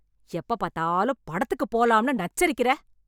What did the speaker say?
எப்ப பாத்தாலும் படத்துக்கு போலாம்னு நச்சரிக்கிற